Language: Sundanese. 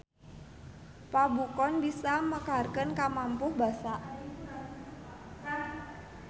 Pabukon bisa mekarkeun kamapuh basa.